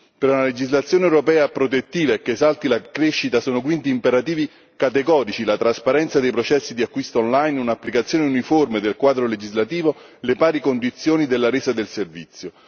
Per una legislazione europea protettiva e che esalti la crescita sono quindi imperativi categorici la trasparenza dei processi di acquisto online, un'applicazione uniforme del quadro legislativo e le pari condizioni della resa del servizio.